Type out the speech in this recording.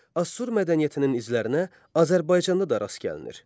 Assur mədəniyyətinin izlərinə Azərbaycanda da rast gəlinir.